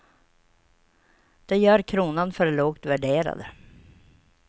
Det gör kronan för lågt värderad.